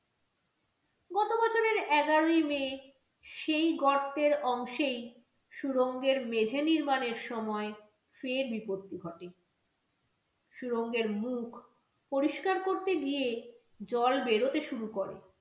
এগারোই may সেই গর্তের অংশেই সুরঙ্গের মেঝে নির্মাণের সময় ফের বিপত্তি ঘটে সুরঙ্গের মুখ পরিষ্কার করতে গিয়ে জল বেরোতে শুরু করে।